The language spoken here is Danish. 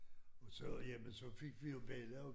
Og så jamen så fik vi jo bella og